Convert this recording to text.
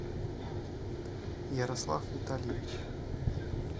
ярослав витальевич